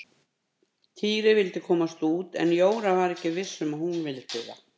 Týri vildi komast út en Jóra var ekki viss um að hún vildi það.